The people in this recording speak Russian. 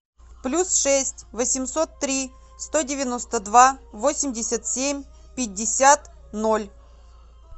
плюс шесть восемьсот три сто девяносто два восемьдесят семь пятьдесят ноль